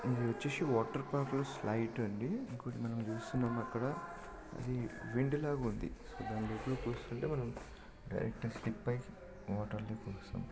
ఇది వచ్చేసి water pipe light అండి. ఇంకోటి మనం చూస్తున్నాం అక్కడ అది వెండిలాగుంది. దానిదిక్కు చూస్తుంటే మనం డైరెక్ట్ గా స్కిప్ అయి